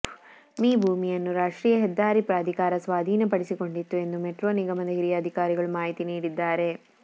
me ಭೂಮಿಯನ್ನು ರಾಷ್ಟ್ರೀಯ ಹೆದ್ದಾರಿ ಪ್ರಾಧಿಕಾರ ಸ್ವಾಧೀನಪಡಿಸಿಕೊಂಡಿತ್ತು ಎಂದು ಮೆಟ್ರೋ ನಿಗಮದ ಹಿರಿಯ ಅಧಿಕಾರಿಗಳು ಮಾಹಿತಿ ನೀಡಿದ್ದಾರೆ